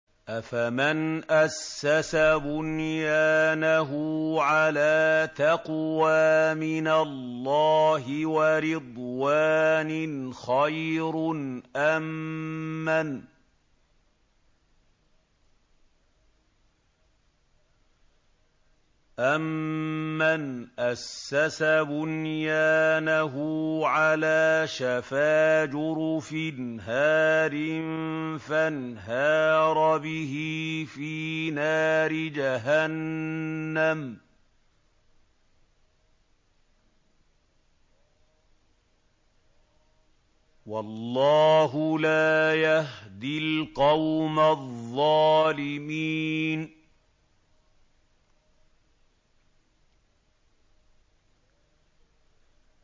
أَفَمَنْ أَسَّسَ بُنْيَانَهُ عَلَىٰ تَقْوَىٰ مِنَ اللَّهِ وَرِضْوَانٍ خَيْرٌ أَم مَّنْ أَسَّسَ بُنْيَانَهُ عَلَىٰ شَفَا جُرُفٍ هَارٍ فَانْهَارَ بِهِ فِي نَارِ جَهَنَّمَ ۗ وَاللَّهُ لَا يَهْدِي الْقَوْمَ الظَّالِمِينَ